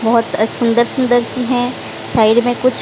बहोत अछ सुंदर सुंदर सी हैं साइड में कुछ--